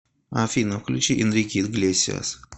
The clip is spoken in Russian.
афина включи энрике иглесиас